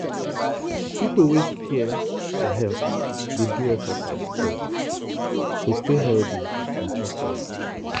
people wey care for health dey do exercise steady to stay healthy and chop well.